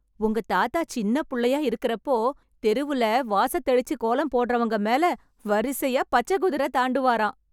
உங்க தாத்தா சின்னப்புள்ளையா இருக்கறப்போ, தெருவுல வாசத்தெளிச்சு கோலம் போட்றவங்க மேல வரிசையா பச்சைக் குதிரை தாண்டுவாராம்.